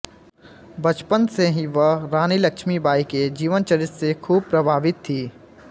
बचपन से ही वह रानी लक्ष्मी बाई के जीवनचरित से खूब प्रभावित थी